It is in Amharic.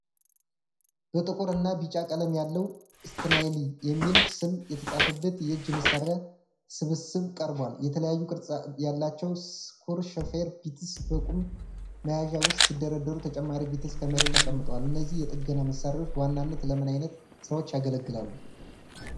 በጥቁር እና ቢጫ ቀለም ያለው 'STANLEY' የሚል ስም የተጻፈበት የእጅ መሣሪያ ስብስብ ቀርቧል። የተለያዩ ቅርጽ ያላቸው ስክሩ ሾፌር ቢትስ በቁም መያዣ ውስጥ ሲደረደሩ፣ ተጨማሪ ቢትስ ከመሬት ተቀምጠዋል። እነዚህ የጥገና መሣሪያዎች በዋናነት ለምን ዓይነት ሥራዎች ያገለግላሉ?